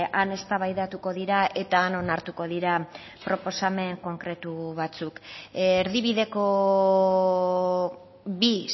han eztabaidatuko dira eta han onartuko dira proposamen konkretu batzuk erdibideko bi